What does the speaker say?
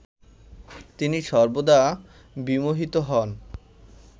তিনি সর্বদা বিমোহিত হন